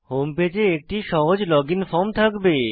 home পেজে একটি সহজ লগইন ফর্ম থাকবে